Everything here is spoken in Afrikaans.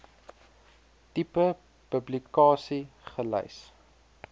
tipe publikasie gelys